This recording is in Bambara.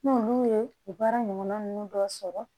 N'olu ye baara ɲɔgɔn ninnu dɔ sɔrɔ